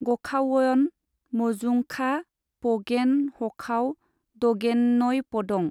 गखावयन मजुंखा पगेन हखाव दगेनयपदं।